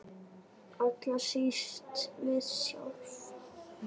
Allra síst við sjálf.